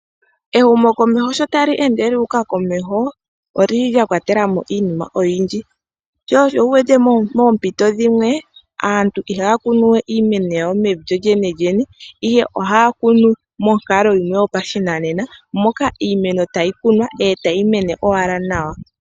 Ehumokomeho sho tali ende lyu uka komeho oli li lya kwatela mo iinima oyindji, sho osho wu wete moompito dhimwe aantu ihaya kunu we iimeno yawo mevi lyolyenelyene, ihe ohaya kunu monkalo yimwe yopashinanena, moka iimeno tayi kunwa e tayi mene owala nawa.